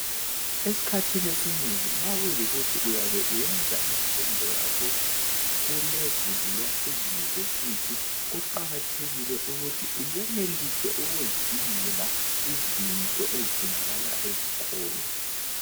Esikhathini esinengi nxa kuyikuthi uyabe usenza imfundo yakho kubanga leyunivesithi kuqakathekile ukuthi uyenelise ukuzidingele izinto eziyabe zifunakala esikolo.